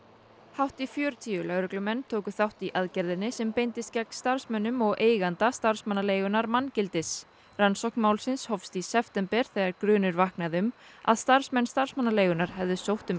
hátt í fjörutíu lögreglumenn tóku þátt í aðgerðinni sem beindist gegn starfsmönnum og eiganda starfsmannaleigunnar manngildis rannsókn málsins hófst í september þegar grunur vaknaði um að starfsmenn starfsmannaleigunnar hefðu sótt um